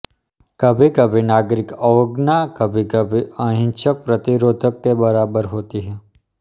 कभीकभी नागरिक अवज्ञा कभीकभी अहिंसक प्रतिरोध के बराबर होती है